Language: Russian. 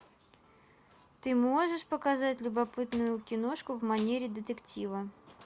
ты можешь показать любопытную киношку в манере детектива